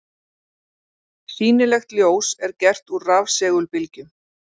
Sýnilegt ljós er gert úr rafsegulbylgjum.